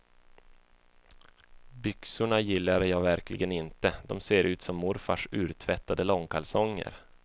Byxorna gillar jag verkligen inte, de ser ut som morfars urtvättade långkalsonger.